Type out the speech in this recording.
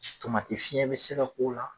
fiɲɛn bi se ka k'o la